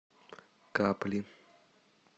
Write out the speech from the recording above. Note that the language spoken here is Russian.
капли